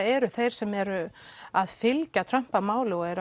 eru þeir sem eru að fylgja Trump að máli eru